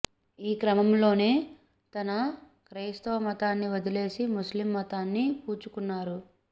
ఈ క్రమంలోనే తన క్రైస్తవ మతాన్ని వదిలేసి ముస్లిం మతాన్ని పుచ్చుకున్నాడు